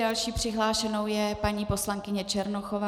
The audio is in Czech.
Dalším přihlášenou je paní poslankyně Černochová.